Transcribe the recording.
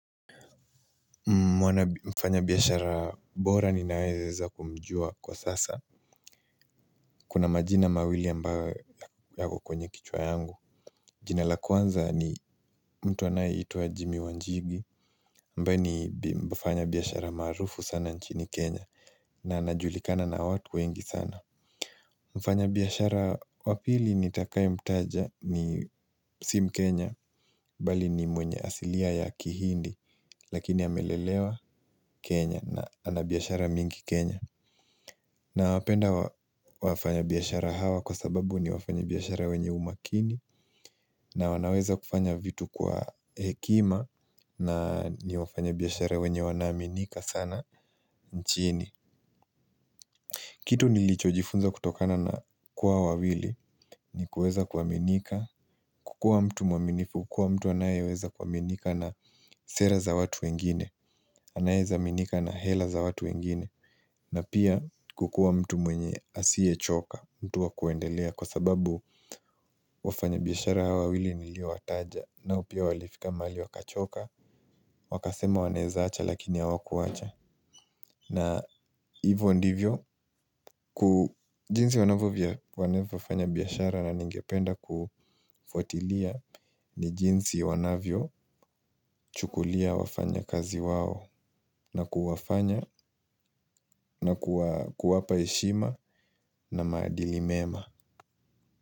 Mwana mfanyabiashara bora ninayeweza kumjua kwa sasa. Kuna majina mawili ambayo yako kwenye kichwa yangu. Jina la kwanza ni mtu anayehituwa Jimmy Wanjigi ambaye ni mfanya biyashara marufu sana nchini Kenya na anajulikana na watu wengi sana. Mfanya biyashara wapili nitakayo mtaja ni sim Kenya bali ni mwenye asilia ya kihindi lakini amelelewa Kenya na anabiashara mingi Kenya na wapenda wafanya biashara hawa kwa sababu ni wafanya biashara wenye umakini na wanaweza kufanya vitu kwa hekima na ni wafanya biashara wenye wanaminika sana nchini kitu nilicho jifunza kutokana na kuwa wawili ni kuweza kwaminika kukua mtu mwaminifu kukua mtu anaye weza kwa minika na sera za watu wengine. Anaeza minika na hela za watu wengine. Na pia kukua mtu mwenye asiechoka. Mtu wakuendelea kwa sababu wafanya biyashara hawa wawili niliwotaja. Nao pia walifika mali wakachoka. Wakasema waneza acha lakini awakuacha. Na hivyo ndivyo. Jinsi wanavyo vya waneza wafanya biyashara na ningependa kufuatilia. Ni jinsi wanavyo chukulia wafanya kazi wao. Na kuwafanya na kuwapa eshima. Na madilimema.